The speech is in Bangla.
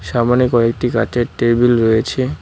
সামনে কয়েকটি কাঁচের টেবিল রয়েছে।